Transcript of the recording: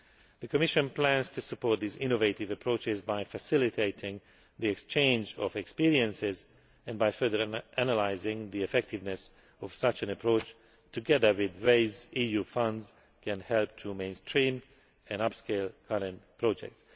The Commission plans to support these innovative approaches by facilitating the exchange of experience and by further analysing the effectiveness of such an approach, together with ways EU funds can help to mainstream and upscale current projects.